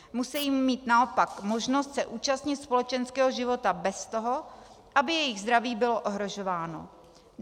Musejí mít naopak možnost se účastnit společenského života bez toho, aby jejich zdraví bylo ohrožováno.